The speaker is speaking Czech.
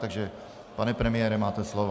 Takže pane premiére, máte slovo.